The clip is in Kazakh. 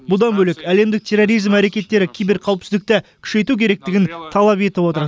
бұдан бөлек әлемдік терроризм әрекеттері киберқауіпсіздікті күшейту керектігін талап етіп отыр